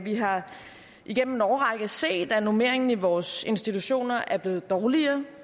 har igennem en årrække set at normeringen i vores institutioner er blevet dårligere